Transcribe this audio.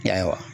Ya